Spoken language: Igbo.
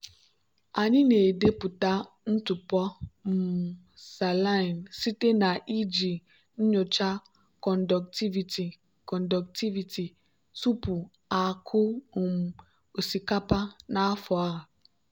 anyị na-edepụta ntụpọ um saline site na iji nyocha conductivity conductivity tupu akụ um osikapa n'afọ a.